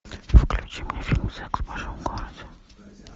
включи мне фильм секс в большом городе